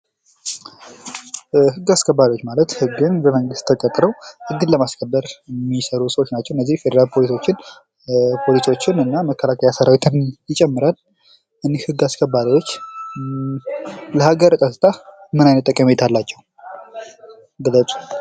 ህግ አስከባሪ ማለት ህግን በመንግስት ተቀጥረው ህግን ለማስከበር የሚሰሩ ሰዎች ናቸው። እነዚህ የፌደራል ፖሊሶችም ፖሊሶችም እና መከላከያ ሰራዊትን ይጨምራል። እኒህ ህግ አስከባሪዎች ለሀገር ቀጥታ ምን አይነት ጠቀሜታ አላቸው? ግለጹ?